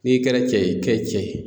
N'i kɛra cɛ ye, kɛ cɛ ye.